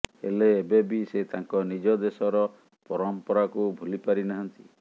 ହେଲେ ଏବେବି ସେ ତାଙ୍କ ନିଜ ଦେଶର ପରମ୍ପରାକୁ ଭୁଲି ପାରି ନାହାଁନ୍ତି